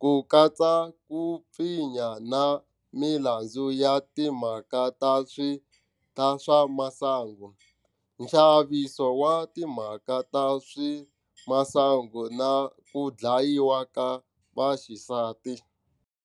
ku katsa ku pfinya na milandzu ya timhaka ta swa masangu, nxaniso wa timhaka ta swa masangu na ku dlayiwa ka vaxisati.